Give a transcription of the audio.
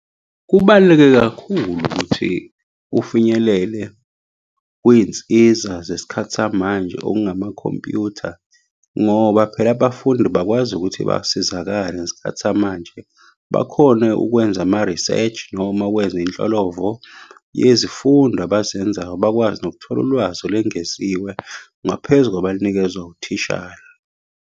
Kubaluleke kakhulu ukuthi ufinyelele kwiy'nsiza zesikhathi samanje okungamakhompuyutha, ngoba phela abafundi bakwazi ukuthi basizakale ngesikhathi samanje. Bakhone ukwenza ama-research, noma ukwenza inhlolovo yezifundo abazenzayo. Bakwazi nokuthola ulwazi olwengeziwe ngaphezu kwabalunikezwa uthishara.